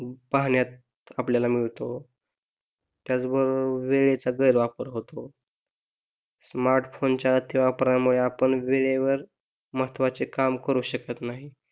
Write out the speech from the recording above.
पाहण्यात आपल्याला मिळतो त्याचबरोबर वेळेचा गैरवापर होतो स्मार्ट फोन च्या अति वापरामुळे आपण वेळेवर महत्वाचे काम करू शकत नाही.